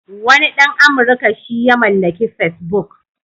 Wani ɗan Amurka shi ya mallaki Facebook.